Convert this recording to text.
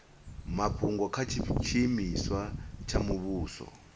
mafhungo kha tshiimiswa tsha muvhuso